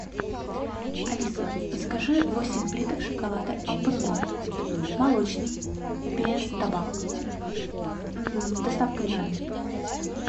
алиса закажи восемь плиток шоколада алпен голд молочный без добавок с доставкой на дом